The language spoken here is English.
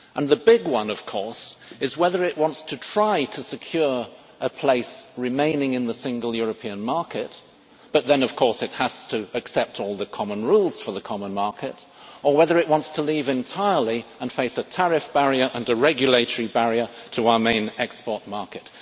The big one, of course, is whether it wants to try to secure a place remaining in the single European market but then, of course, it has to accept all the common rules for the common market or whether it wants to leave entirely and face a tariff barrier and a regulatory barrier to our main export market.